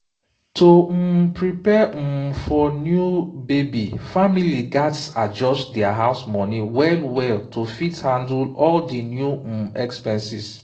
to um prepare um for new baby family gats adjust their house money well well to fit handle all di new um expenses.